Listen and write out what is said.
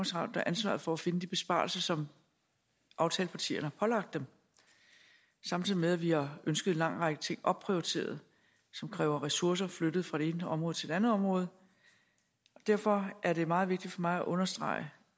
ansvaret for at finde de besparelser som aftalepartierne pålagt dem samtidig med at vi har ønsket en lang række ting opprioriteret som kræver ressourcer flyttet fra det ene område til det andet område derfor er det meget vigtigt for mig at understrege